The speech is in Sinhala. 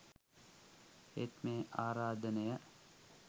ඒත් මේ ආරාධනය